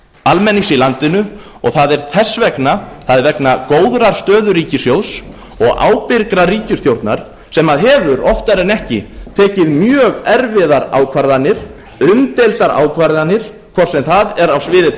almennings í landinu það er þess vegna það er vegna góðrar stöðu ríkissjóðs og ábyrgrar ríkisstjórnar sem hefur oftar en ekki tekið mjög erfiðar ákvarðanir umdeildar ákvarðanir hvort sem það er á sviði